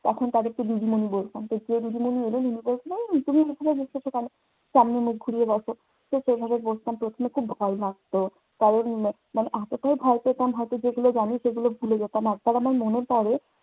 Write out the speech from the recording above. তখন তাদেরকে দিদিমনি বলতাম। যে দিদিমনি এলেন উনি বললেন, এই তুমি এখানে বসেছো কেনো? সামনে মুখ ঘুরিয়ে বসো। তো সেভাবেই বসতাম। প্রথমে খুব ভয় লাগতো। কারণ, ম মানে এতটাই ভয় পেতাম হয়তো যেগুলো জানি সেগুলো ভুলে যেতাম। একবার আমার মনে পড়ে